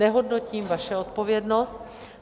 Nehodnotím vaši odpovědnost.